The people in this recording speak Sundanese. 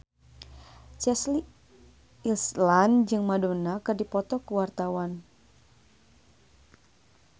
Chelsea Islan jeung Madonna keur dipoto ku wartawan